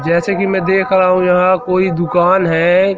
जैसे कि मैं देख रहा हूं यहां कोई दुकान है।